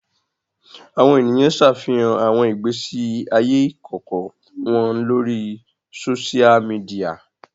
Awọn eniyan ṣafihan awọn igbesi aye ikọkọ wọn lori sósia midiya